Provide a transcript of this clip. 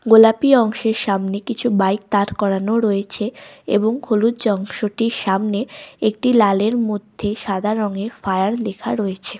গোলাপি অংশের সামনে কিছু বাইক দাড় করানো রয়েছে এবং হলুদ অংশটির সামনে একটি লালের মধ্যে সাদা রঙের ফায়ার লেখা রয়েছে ।